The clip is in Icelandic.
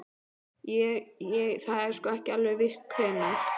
Ég. ég. það er sko. ekki alveg víst hvenær.